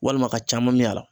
Walima a ka caman min a la